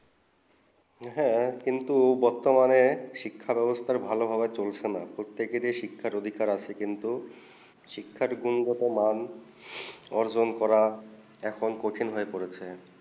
হেঁ বর্তমানে শিক্ষা বেবস্তা ভালো ভাবে চলছে না প্রতীকে শিক্ষা অধিকার আছে কিন্তু শিক্ষা গুরুত্ব্যমান অর্জন করা সকল কঠিন হয়ে পড়েছে